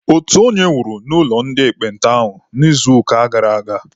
Otu onye nwụrụ n'ụlọ ndị ekpenta ahụ n'izuụka gara aga.